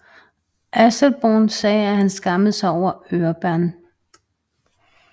Asselborn sagde at han skammede sig over Orbán